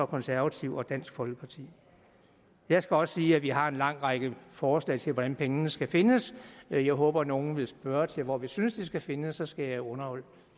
konservative og dansk folkeparti jeg skal også sige at vi har en lang række forslag til hvordan pengene skal findes jeg håber at nogle vil spørge til hvor vi synes de skal findes så skal jeg underholde